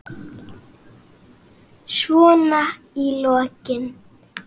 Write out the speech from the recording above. Svona í lokin.